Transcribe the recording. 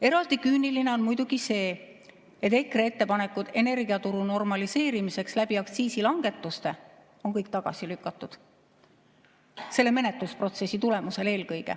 Eraldi küüniline on muidugi see, et EKRE ettepanekud energiaturu normaliseerimiseks aktsiisilangetuste kaudu on kõik tagasi lükatud, eelkõige selle menetlusprotsessi tulemusel.